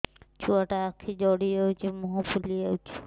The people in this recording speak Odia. ଛୁଆଟା ଆଖି ଜଡ଼ି ଯାଉଛି ମୁହଁ ଫୁଲି ଯାଉଛି